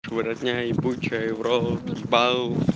его родня ебучая их в рот ебал